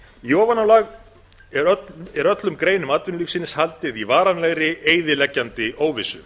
í ofanálag er öllum greinum atvinnulífsins haldið í varanlegri eyðileggjandi óvissu